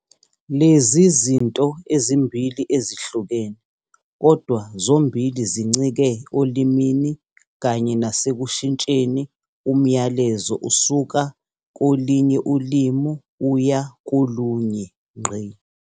Lezi izinto ezimbili ezihlukene kodwa zombili zincike olimini kanye nase kushintsheni umyalezo usuka kolinye ulimi uya kolunye.